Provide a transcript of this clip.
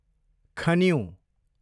खनिउँ